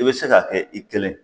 I be se k'a kɛ i kelen